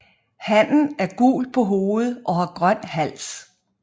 Hannen er gul på hovedet og har grøn hals